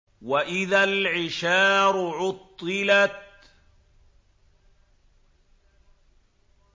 وَإِذَا الْعِشَارُ عُطِّلَتْ